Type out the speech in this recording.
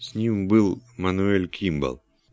с ним был мануэль кимбал